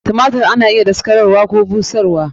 Tumatir ana iya daskararwa Koh busharwa.